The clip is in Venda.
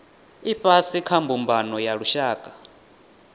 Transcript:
ifhasi kha mbumbano ya lushaka